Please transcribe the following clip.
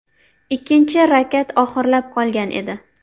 Ikkinchi rakat oxirlab qolgan edi.